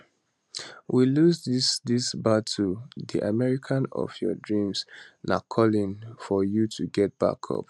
we lose dis dis battle di america of your dreams na calling for you to get back up